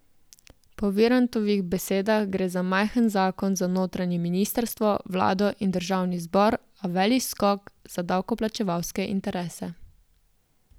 Po Virantovih besedah gre za majhen zakon za notranje ministrstvo, vlado in državni zbor, a velik skok za davkoplačevalske interese.